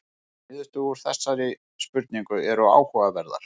Niðurstöður úr þessari spurningu eru áhugaverðar